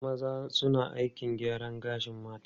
Wasu maza suna aikin gyaran gashin mata.